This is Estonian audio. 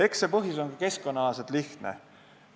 See põhjus on lihtne.